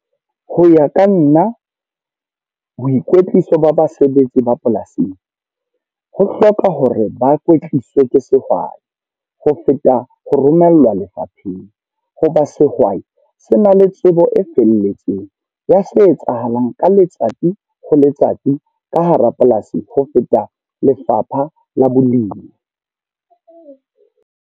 Ho ya ka nna, boikwetliso ba basebetsi ba polasing. Ho hloka hore ba kwetliswa ke sehwai, ho feta ho romellwa lefapheng. Ho ba sehwai, se na le tsebo e felletseng ya se etsahalang ka letsatsi ho letsatsi ka hara polasi ho feta lefapha la bolemi.